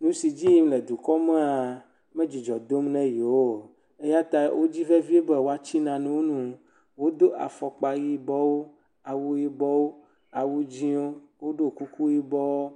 nusi edzi yim le dukɔa me medzidzɔ dom na yewo o eyata wodzi vevie be woati nanewo nu do afɔkpa yibɔwo awu yibɔwo awu dzĩwo woɖɔ kuku yibɔwo